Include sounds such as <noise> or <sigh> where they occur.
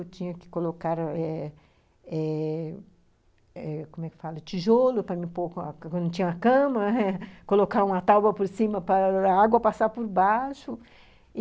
Eu tinha que colocar eh eh eh, como é que fala, tijolo para me pôr quando não tinha cama, <laughs> colocar uma tábua por cima para a água passar por baixo.